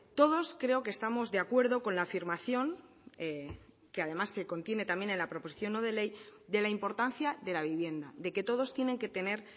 todos creo que estamos de acuerdo con la afirmación que además se contiene también en la proposición no de ley de la importancia de la vivienda de que todos tienen que tener